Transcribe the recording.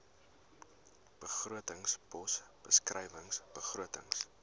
begrotingspos beskrywing begrotings